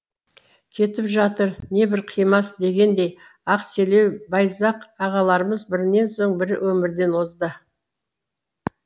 кетіп жатыр небір қимас дегендей ақселеу байзақ ағаларымыз бірінен соң бірі өмірден озды